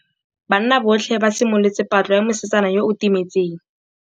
Banna botlhê ba simolotse patlô ya mosetsana yo o timetseng.